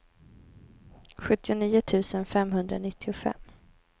sjuttionio tusen femhundranittiofem